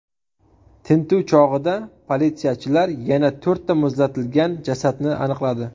Tintuv chog‘ida politsiyachilar yana to‘rtta muzlatilgan jasadni aniqladi.